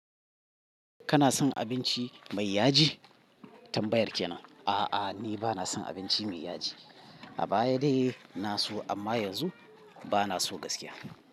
Kana son abinci mai yaji? Tambayar kenan. A'a, ni bana son abinci mai yaji. A baya dai na so amma yanzu bana so gaskiya.